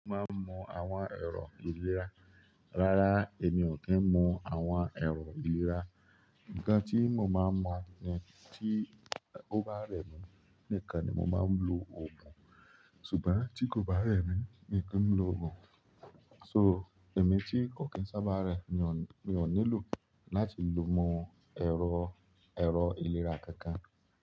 Mo máa ń mọ àwọn ẹrọ ìlera. Rárá, èmi ò kí ń mọ àwọn èrò ìlera. Ǹkan tí mo máa ń mọ̀ ni tí ó bá rẹ̀ mí, nìkan ni mo máa ń lo òògùn. Ṣùgbọ́n tí kò bá rẹ̀ mí, mi ki ń lo òògùn. So, èmi tí kò kí ń sábà rẹ̀, mi ò nílò láti lo mọ ẹrọ, ẹrọ ìlera kankan.